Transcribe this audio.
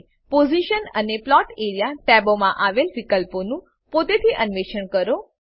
position અને plot area ટેબોમાં આવેલ વિકલ્પોનું પોતેથી અન્વેષણ કરો